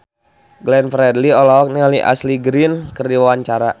Glenn Fredly olohok ningali Ashley Greene keur diwawancara